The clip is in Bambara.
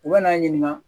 U bɛ n'a ɲininka